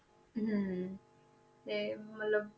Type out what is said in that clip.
ਹਮ ਤੇ ਮਤਲਬ